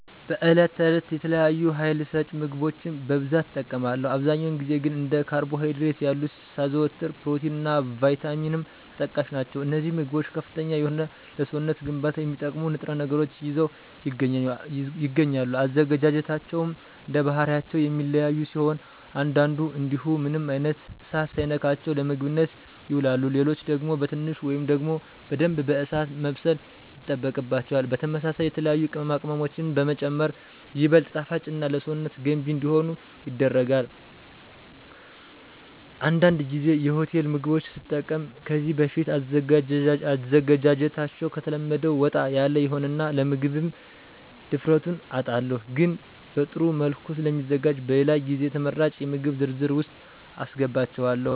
በዕለት ተዕለት የተለያዩ ሀይል ሰጭ ምግቦችን በብዛት እጠቀማለሁ። አብዛኛውን ጊዜ ግን እንደ ካርቦ ሀይድሬት ያሉትን ሳዘወትር ፕሮቲን እና ቫይታሚንም ተጠቃሽ ናቸው። አነዚህ ምግቦች ከፍተኛ የሆነ ለሰውነት ግንባታ የሚጠቅሙ ንጥረ ነገሮችን ይዘው ይገኛሉ። አዘገጃጀታቸውም እንደባህሪያቸው የሚለያዩ ሲሆን አንዳንዱ እንዲሁ ምንም አይነት እሳት ሳይነካቸው ለምግብነት ይውላሉ። ሌሎች ደግሞ በትንሹ ወይም ደግሞ በደንብ በእሳት መብሰል ይጠበቅባቸዋል። በተመሳሳይ የተለያዩ ቅመማ ቅመሞችንም በመጨመር ይበልጥ ጣፋጭና ለሰውነት ገንቢ እንዲሆኑ ይደረጋል። አንዳንድ ጊዜ የሆቴል ምግቦች ስጠቀም ከዚህ በፊት አዘገጃጀታቸዉ ከተለመደው ወጣ ያለ ይሆንና ለመምገብ ድፍረቱን አጣለሁ። ግን በጥሩ መልኩ ስለሚዘጋጁ በሌላ ጊዜ ተመራጭ የምግብ ዝርዝር ውስጥ አሰገባቸዋለሁ።